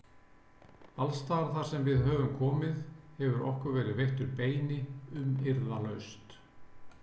Alstaðar þarsem við höfum komið hefur okkur verið veittur beini umyrðalaust.